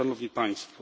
Szanowni Państwo!